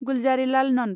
Gulzarilal Nand